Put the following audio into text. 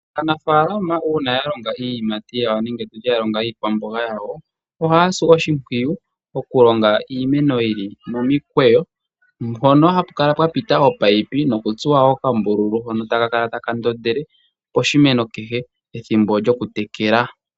Aanafaalama uuna yalonga iiyimati yawo nenge tutye yalonga iikwamboga yawo, ohaya si oshimpwiyu okulonga iimeno yili momikweyo mpono hapukala pwapita ominino nokutsuwa wo okambululu hono taka kala taka ndondele poshimeno kehe ethimbo lyokutekela.